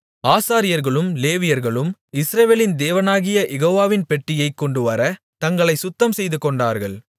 ஆசாரியர்களும் லேவியர்களும் இஸ்ரவேலின் தேவனாகிய யெகோவாவின் பெட்டியைக் கொண்டுவரத் தங்களைச் சுத்தம்செய்துகொண்டார்கள்